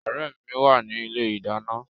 Ọ̀rẹ́ mi wà ní ilé ìdáná